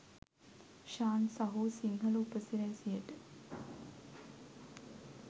ශාන් සහෝ සිංහල උපසිරැසියට.